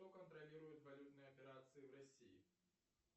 кто контролирует валютные операции в россии